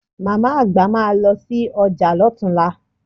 Màmá-àgbà máa lọ sí ọjà lọ́tunla